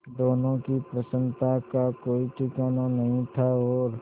दोनों की प्रसन्नता का कोई ठिकाना नहीं था और